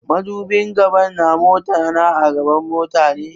Madubin gaba na mota na a gaban mota ne.